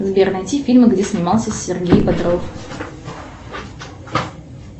сбер найти фильмы где снимался сергей бодров